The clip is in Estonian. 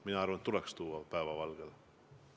Mina arvan, et see tuleks tuua päevavalgele.